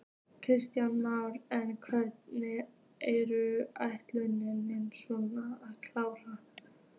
Kristján Már: En hvenær er ætlunin svo að klára?